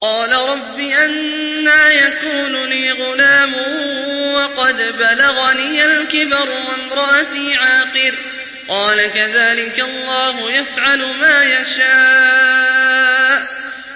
قَالَ رَبِّ أَنَّىٰ يَكُونُ لِي غُلَامٌ وَقَدْ بَلَغَنِيَ الْكِبَرُ وَامْرَأَتِي عَاقِرٌ ۖ قَالَ كَذَٰلِكَ اللَّهُ يَفْعَلُ مَا يَشَاءُ